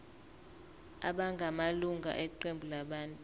abangamalunga eqembu labantu